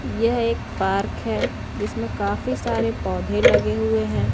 यह एक पार्क है जिसमें काफी सारे पौधे लगे हुए हैं।